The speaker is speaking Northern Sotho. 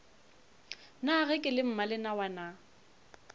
na ge ke le mmalenawana